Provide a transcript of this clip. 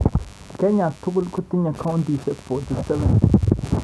Kenya tugul kotinyei kauntisiek 47.